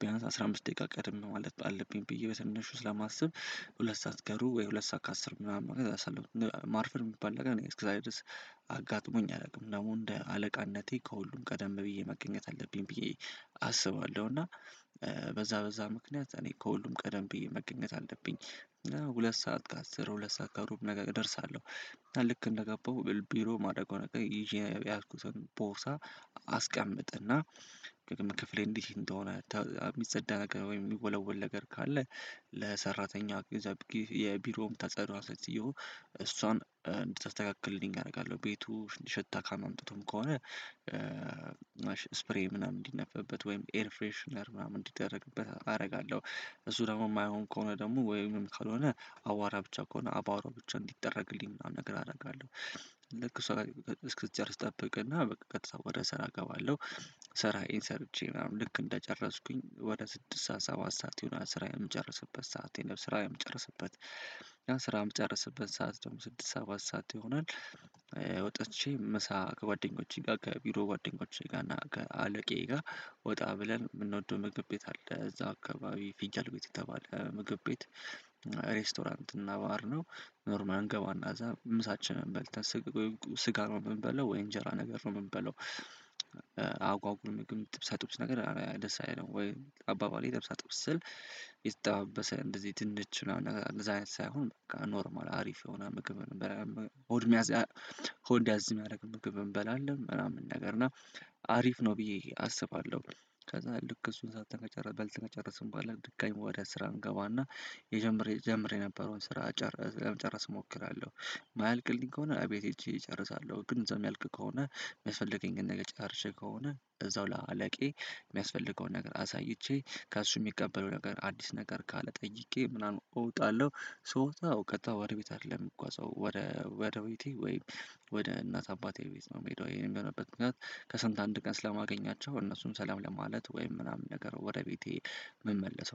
ቢያንስ አስራ አምስት ደቂቃ ቀደም ማለት አለብኝ ብዬ በትንሹ ስለማስብ። ሁለት ሰዓት ከሩብ ወይ ሁለት ሰዓት ከአስር ምናምን ማርፈድ የሚባል ነገር እኔ እስከ ዛሬ ድረስ አጋጥሞኝ አያላቅም ደግሞ እንደ አለቃነቴ ከሁሉም ቀደም ብዬ መገኘት አለብኝ ብዬ። አስባለሁ እና በዛ በዛ ምክንያት እኔ ከሁሉም ቀደም ብዬ መገኘት አለብኝ እና ሁለት ሰዓት ከአስር ሁለት ሰዓት ከሩብ ነገር እደርሳለሁ። ልክ እንደገባሁ ቢሮ ማደርገው ነገር ይሄ ያያዝኩትን ቦርሳ አስቀምጥና ደግሞ ክፍሌ እንዲህ እንደሆነ የምፀዳ ወይም የምወለውል ነገር ካለ ለሠራተኛ ቤዛ አደርጌ የቢሮው ተፀራ ተጸድዮ። እሷን እንድተስተካከልልኝ አደርጋለሁ ቤቱ እንዲሸታ ካም አምጥቶም ከሆነ ስፕሬይ ምናምን እንዲነፍፍበት ወይም ኤር ፍሬሽነር ምናምን እንዲደረግበት አደርጋለሁ። እሱ ደግሞ የማይሆን ከሆነ ደግሞ ወይም ካልሆነ አቡዋራ ብቻ ከሆነ አቡዋራ ብቻ እንዲጠረግልኝ ምናምን ነገር አደርጋለሁ። ልክ እሷ እስክትጨርስ ጠብቅና በቃ ከተሰወረ ስራ እገባለሁ። ስራዬ ሰርቼ ምናምን ልክ እንደጨረስኩኝ ወደ ስድስት ሰዓት ሰባት ሰዓት የሆነ ስራዬን የምጨርስበት ሰዓት የሆነ ስራዬን የምጨርስበት ስራም ጨረስበት ሰዓት ደግሞ ስድስት ሰባት ሰዓት ይሆናል። ወጥቼ ምሳ ከጓደኞቼ ጋር ከቢሮ ጓደኞቼ ጋር እና ከአለቃዬ ጋር ወጣ ብለን የምንወደው ምግብ ቤት አለ እዛ አካባቢ ፊጃል ቤት እገባለሁ ምግብ ቤት ሬስቶራንት እና ባህር ነው። ኖርማል እንገባና እዛ ምሳችንን በልተን ስጋ ነው የምንበለው ወይ እንጀራ ነገር ነው የምንበለው። አጓጉር ምግብ ጥብጥብስ ነገር ደስ አይለኝም ወይ አባባሌ ደስ አጥብስ ስል የተጠባበሰ እንደዚህ ድንች ምናምን እንደዚህ አይነት ሳይሆን በቃ ኖርማል አሪፍ የሆነ ምግብ እንበላለን። ሆድ ያዝ የምያርግ ምግብ እንበላለን ምናምን ነገር እና አሪፍ ነው ብዬ አስባለሁ። ከዛ ልክ እሱን በልተን ከእንጨርስ በኃላ ድጋሜ ወደ ስራ እንገባና። ጀምረ የነበረውን ስራ ለመጨረስ እሞክራለሁ የማያልቅልኝ ከሆነ አቤቴ እጄ ይጨርሳለሁ ግን እዛው የሚያልቅ ከሆነ የሚያስፈልገኝን ነገር ጨርሼ ከሆነ እዛው ለአለቃዬ የሚያስፈልገውን ነገር አሳይቼ ከእሱ የሚቀበለው ነገር አዲስ ነገር ካለ ጠይቄ ምናምን እወጣለሁ። ስወጣው ቀጥታ ወደ ቤት አይደለም የሚጓዘው። ወደ ቤቴ ወይም ወደ እናት አባቴ ቤት ነው የሚሄደው። ይሄን የሚሆንበት ምክንያት ከሳምንት አንድ ቀን ስለማገኛቸው እነሱም ሰላም ለማለት ወይም ምናምን ነገር ወደ ቤቴ መመለስ